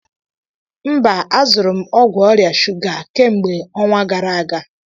Mba, azụrụ m ọgwụ ọrịa shuga a kemgbe ọnwa gara aga